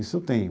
Isso eu tenho.